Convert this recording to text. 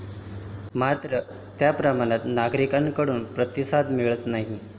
मात्र, त्याप्रमाणात नागरिकांकडून प्रतिसाद मिळत नाही.